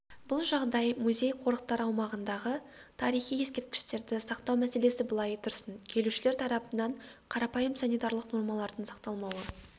бұл жағдай музей-қорықтар аумағындағы тарихи ескерткіштерді сақтау мәселесі былай тұрсын келушілер тарапынан қарапайым санитарлық нормалардың сақталмауы